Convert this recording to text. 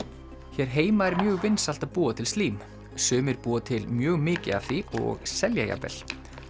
hér heima er mjög vinsælt að búa til slím sumir búa til mjög mikið af því og selja jafnvel